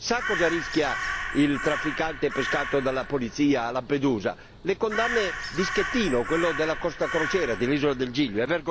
sa cosa rischia il trafficante pescato dalla polizia a Lampedusa? Le condanne di Schettino, quello della Costa crociere dell'isola del Giglio